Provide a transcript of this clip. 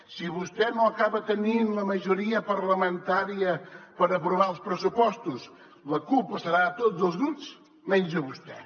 si vostè no acaba tenint la majoria parlamentària per aprovar els pressupostos la culpa serà de tots els grups menys de vostè